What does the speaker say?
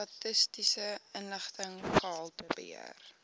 statistiese inligting gehaltebeheer